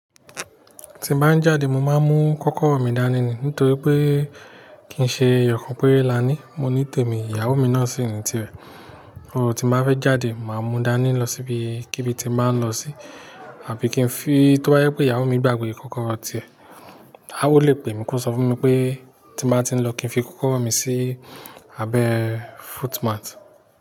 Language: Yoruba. Ti ń ba n jáde mo máa ń mú kọ́kọ́rọ́ mi dání ni nítorí pé kìí ṣe ẹyọkan péré lání, mo ní tèmi ìyàwó mi náà sì ní tirẹ̀. O ti mo bá fẹ́ jáde, màá mú dání lọ síbi kí bi tí ń báa ń lọ sí, àbí kí n fi to ba jẹ pé ìyàwó mi gbàgbé kọ́kọ́rọ́ tiẹ̀. A ó lè pè mí kó sọ fún mi pé tí màá ti ń lọ kí n fi kọ́kọ́rọ́ mi sí abẹ́ footmat.